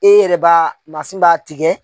E yɛrɛ b'a mansin b'a tigɛ.